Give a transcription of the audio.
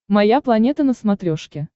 моя планета на смотрешке